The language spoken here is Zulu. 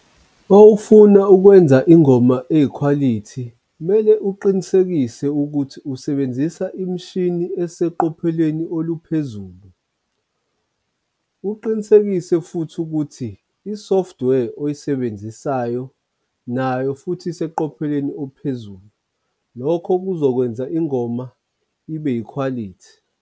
Uma ufuna ukwenza ingoma eyikhwalithi, kumele uqinisekise ukuthi usebenzisa imishini eseqophelweni oluphezulu. Uqinisekise futhi ukuthi i-software oyisebenzisayo nayo futhi iseqophelweni ophezulu. Lokho kuzokwenza ingoma ibe yikhwalithi.